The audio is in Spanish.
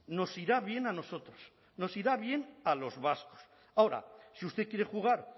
nos irá bien a nosotros nos irá bien a los vascos ahora si usted quiere jugar